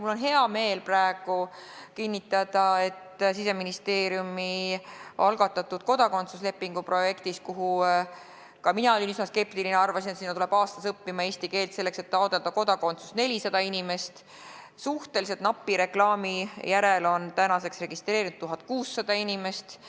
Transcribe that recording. Mul on hea meel praegu kinnitada, et Siseministeeriumi algatatud kodakondsuslepingu projektis – ka mina olin üsna spektiline, arvasin, et aastas tuleb eesti keelt õppima, selleks et kodakondsust taotleda, 400 inimest – on suhteliselt napi reklaami järel tänaseks registreerunud 1600 inimest.